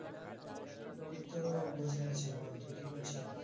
এই তো বসে আছি বল তুই কি করছিস?